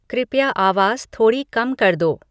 कृपया आवाज़ थोड़ी कम कर दो